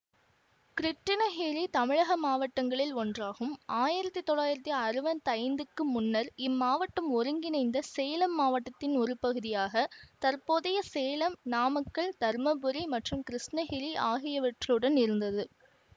கிருட்டிணகிரி தமிழக மாவட்டங்களில் ஒன்றாகும் ஆயிரத்தி தொள்ளாயிரத்தி அறுபத்தி ஐந்துக்கு முன்னர் இம்மாவட்டம் ஒருங்கிணைந்த சேலம் மாவட்டத்தின் ஒரு பகுதியாக தற்போதைய சேலம் நாமக்கல் தருமபுரி மற்றும் கிருஷ்ணகிரி ஆகியவற்றுடன் இருந்தது